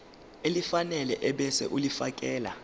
elifanele ebese ulifiakela